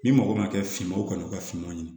Ni mɔgɔ ma kɛ finman ye u ka u ka finma ɲini